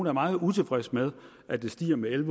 er meget utilfreds med at det stiger med en